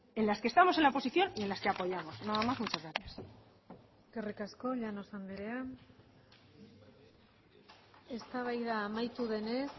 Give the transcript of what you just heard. en las que estamos en la oposición y en las que apoyamos nada más y muchas gracias eskerrik asko llanos andrea eztabaida amaitu denez